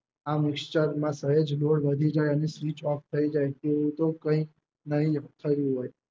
આમ વિશ્ચરમા સહેજ દોઢ વધી જાય અને Switch off થઈ જાય તેવું તો કઈ નહિ થયું હોય